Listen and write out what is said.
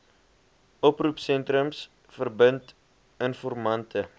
oproepsentrums verbind informante